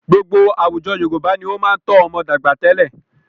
Gbogbo àwùjọ Yorùbá ni ó máa ń tọ́ ọmọ dàgbà tẹ́lẹ̀.